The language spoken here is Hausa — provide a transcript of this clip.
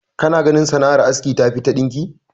Kana ganin sanar aski tafi ta ɗinki?